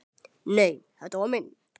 Nei, þetta var minn